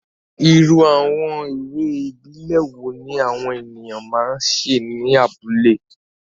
Irú àwọn eré ìbílẹ̀ wo ni àwọn ènìyàn máa ń ṣe ní abúlé?